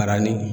Baara ni